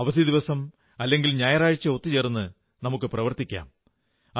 അവധി ദിവസം അല്ലെങ്കിൽ ഞായറാഴ്ച ഒത്തുചേർന്ന് പ്രവർത്തിക്കാം